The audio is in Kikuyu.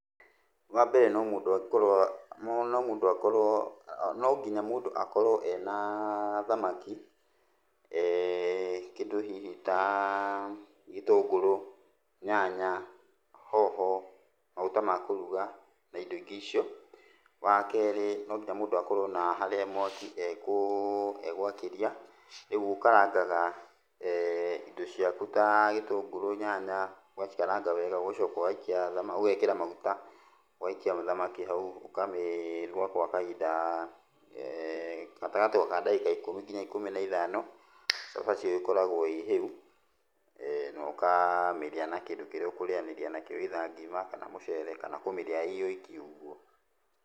Wambere no mũndũ angĩkorwo, no mũndũ akorwo, no nginya mũndũ akorwo ena thamaki, kĩndũ hihi ta gĩtũngũrũ, nyanya , hoho, magũta ma kũruga, na indo ingĩ icio. Wakerĩ no nginya mũndũ akorwo na harĩa mwaki egwakĩria. Rĩu ũkarangaga indo ciaku ta gĩtũngũrũ, nyanya, ũgacikaranga wega, ũgacoka, ũgaikia ũgekĩra maguta, ũgaikia thamaki hau ũkamĩruga gwa kahinda gatagatĩ ka ndagĩka ikũmi kinya ikũmi na ithano, cabaci ĩyo ĩkoragwo ĩ hĩu, na ũkamĩrĩa na kĩndũ kĩrĩa ũkũrĩanĩria nakĩo either ngima kana mũcere kana kũmĩrĩa ĩoiki ũguo.